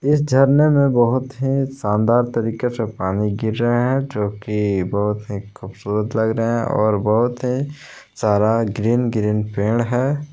इस झरने में बहोत ही शानदार तरीके से पानी गिर रहे है जो की बहुत ही खूबसूरत लग रहा है और बहुत ही सारा ग्रीन ग्रीन पेड़ है।